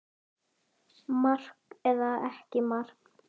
Mark eða ekki mark?